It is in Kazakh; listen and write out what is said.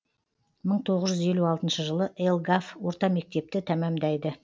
мың тоғыз жүз елу алтыншы жылы елгав орта мектепті тәмамдайды